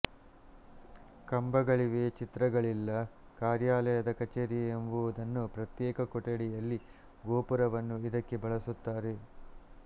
ಕಂಬಗಳಿವೆ ಚಿತ್ರಗಳಿಲ್ಲ ಕಾರ್ಯಾಲಯದ ಕಚೇರಿ ಎಂಬುದನ್ನು ಪ್ರತ್ಯೇಕ ಕೊಠಡಿಯಲ್ಲಿ ಗೋಪುರವನ್ನು ಇದಕ್ಕೆ ಬಳಸುತ್ತಾರೆ